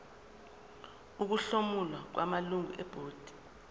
ukuhlomula kwamalungu ebhodi